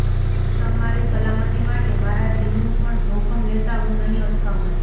તમારી સલામતી માટે મારા જીવનું પણ જોખમ લેતા હું નહીં અચકાઉં